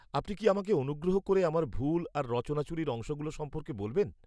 আপনি কি আমাকে অনুগ্রহ করে আমার ভুল আর রচনাচুরির অংশগুলো সম্পর্কে বলবেন?